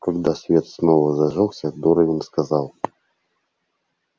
когда свет снова зажёгся дорвин сказал